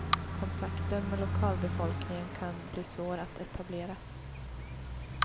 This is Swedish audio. Kontakten med lokalbefolkningen kan bli svår att etablera.